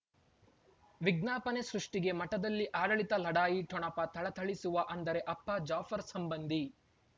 ವಿಜ್ಞಾಪನೆ ಸೃಷ್ಟಿಗೆ ಮಠದಲ್ಲಿ ಆಡಳಿತ ಲಢಾಯಿ ಠೊಣಪ ಥಳಥಳಿಸುವ ಅಂದರೆ ಅಪ್ಪ ಜಾಫರ್ ಸಂಬಂಧಿ